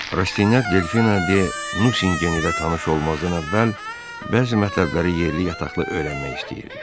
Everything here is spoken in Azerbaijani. Rastinyak Delfina de Nusingen ilə tanış olmazdan əvvəl bəzi mətləbləri yerli yataqlı öyrənmək istəyirdi.